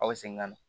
Aw bɛ segin ka na